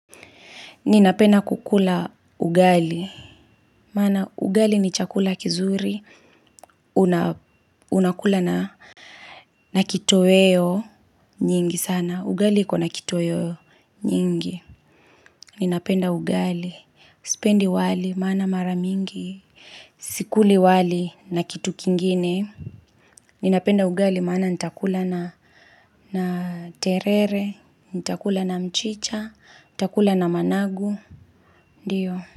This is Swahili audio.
Ninapenda kukula ugali. Maana ugali ni chakula kizuri. Unakula na kitoweo nyingi sana. Ugali ikona kitoweo nyingi. Ninapenda ugali. Sipendi wali maana mara mingi. Sikuli wali na kitu kingine. Ninapenda ugali mana nitakula na terere. Nitakula na mchicha. Nitakula na managu. Ndiyo.